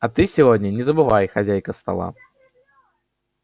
а ты сегодня не забывай хозяйка стола